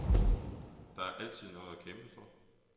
Der er altid noget at kæmpe for.